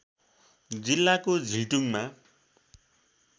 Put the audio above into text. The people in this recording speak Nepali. जिल्लाको झिल्टुङमा